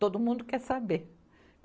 Todo mundo quer saber.